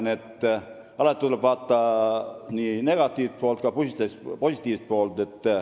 Nii et alati tuleb vaadata nii negatiivset kui ka positiivset poolt.